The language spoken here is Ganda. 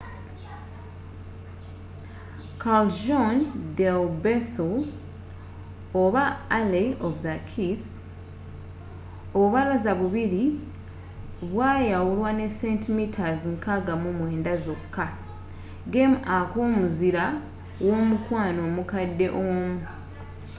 callejon del beso alley of the kiss. obubalaza bubiri bwayawulwa ne centimeters 69 zoka gem aka g’omuzira womukwano omkade omu